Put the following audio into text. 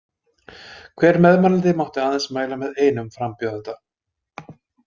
Hver meðmælandi mátti aðeins mæla með einum frambjóðanda.